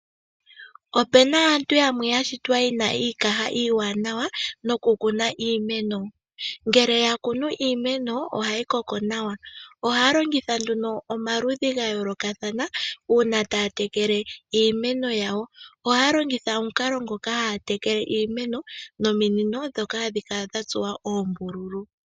Opena aantu yamwe yashitwa yena iikaha iiwanawa nokukuna iimeno, ngele yakunu iimenono ohayi koko nawa ohaya longitha nduno omaludhi ga yoolokathana mokutekela iimeno . Ohaya longitha omukalo ngoka haatekele iimeno nominino ndhoka hadhi kala dha tsuwa oombululu